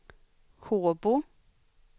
Håbo